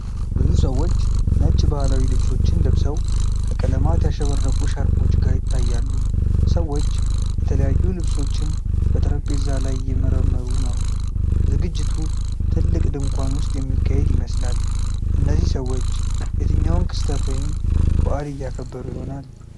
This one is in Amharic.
ብዙ ሰዎች ነጭ ባህላዊ ልብሶችን ለብሰው ከቀለማት ያሸበረቁ ሻርፖች ጋር ይታያሉ። ሰዎች የተለያዩ ልብሶችን በጠረጴዛ ላይ እየመረመሩ ነው። ዝግጅቱ ትልቅ ድንኳን ውስጥ የሚካሄድ ይመስላል። እነዚህ ሰዎች የትኛውን ክስተት ወይም በዓል እያከበሩ ይሆናል?